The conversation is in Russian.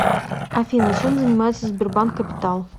афина чем занимается сбербанк капитал